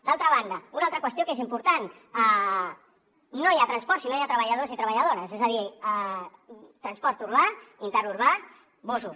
d’altra banda una altra qüestió que és important no hi ha transport si no hi ha treballadors i treballadores és a dir transport urbà interurbà busos